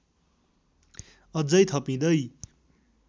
अझै थपिँदै